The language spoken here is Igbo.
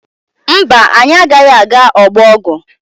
Mba, anyị agaghị aga ọgbọ ọgwụ.